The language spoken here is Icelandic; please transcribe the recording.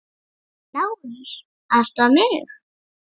LÁRUS: Aðstoða mig!